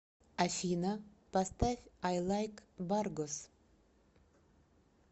афина поставь ай лайк баргос